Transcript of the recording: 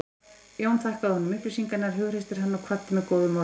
Jón þakkaði honum upplýsingarnar, hughreysti hann og kvaddi með góðum orðum.